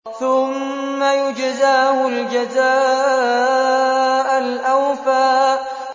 ثُمَّ يُجْزَاهُ الْجَزَاءَ الْأَوْفَىٰ